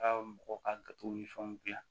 Ka mɔgɔw ka ni fɛnw dilan